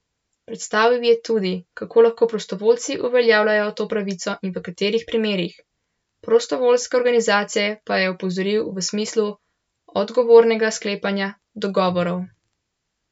Predstavil je tudi, kako lahko prostovoljci uveljavljajo to pravico in v katerih primerih, prostovoljske organizacije pa je opozoril v smislu odgovornega sklepanja dogovorov.